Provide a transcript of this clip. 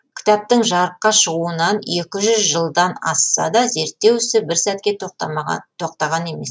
кітаптың жарыққа шығуына екі жүз жылдан асса да зертеу ісі бір сәтке тоқтаған емес